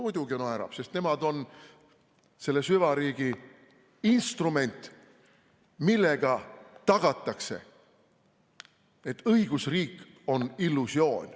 Muidugi naerab, sest nemad on selle süvariigi instrument, millega tagatakse, et õigusriik on illusioon.